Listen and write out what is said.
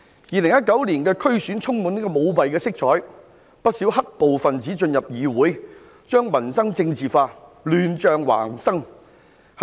2019年的區議會選舉充滿舞弊色彩，不少"黑暴"分子進入議會，將民生政治化，以致亂象橫生。